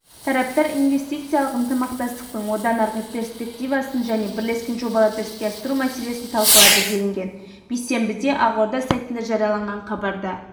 тараптар инвестициялық ынтымақтастықтың одан арғы перспективасын және бірлескен жобаларды іске асыру мәселесін талқылады делінген бейсенбіде ақорда сайтында жарияланған хабарда